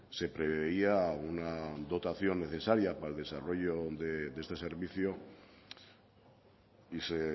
se preveía una dotación necesaria para el desarrollo de este servicio y se